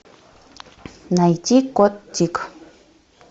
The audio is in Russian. найти кот тик